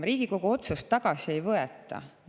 Riigikogu otsust tagasi ei võeta.